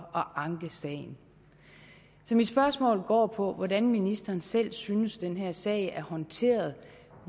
at anke sagen så mit spørgsmål går på hvordan ministeren selv synes den her sag er håndteret